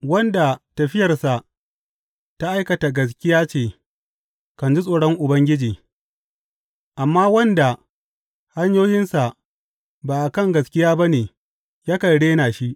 Wanda tafiyarsa ta aikata gaskiya ce kan ji tsoron Ubangiji, amma wanda hanyoyinsa ba a kan gaskiya ba ne yakan rena shi.